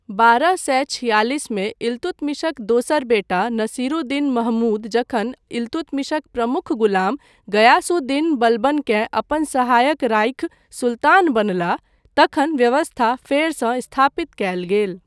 बारह सए छिआलिसमे इल्तुतमिशक दोसर बेटा नसीरुद्दीन महमूद जखन इल्तुतमिशक प्रमुख गुलाम गयास् उद् दीन बलबनकेँ अपन सहायक राखि सुल्तान बनलाह तखन व्यवस्था फेरसँ स्थापित कयल गेल।